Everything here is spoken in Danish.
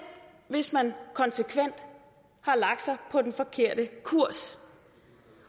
hvis man konsekvent har lagt sig på den forkerte kurs